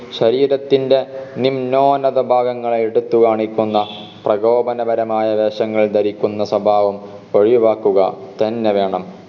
ശരീരത്തിൻറെ നിമ്നോന്നത ഭാഗങ്ങളെ എടുത്ത് കാണിക്കുന്ന പ്രകോപനപരമായ വേഷങ്ങൾ ധരിക്കുന്ന സ്വഭാവം ഒഴിവാക്കുക തന്നെ വേണം